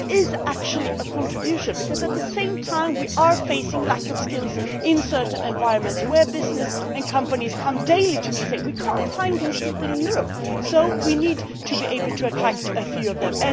But it is actually a contribution because we are at the same time facing a lack of skills in certain environments where businesses and companies come daily to me and say, we cannot find these people in Europe so we need to be able to attract a few of them.